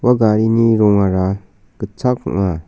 ua garini rongara gitchak ong·a.